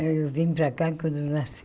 Eu vim para cá quando nasci.